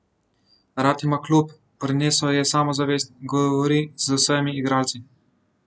Rad ima klub, prinesel je samozavest, govori z vsemi igralci.